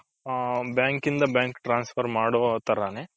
ಹ bank ಇಂದ bank ಇಗೆ transfer ಮಾಡುವ ತರಾನೆ .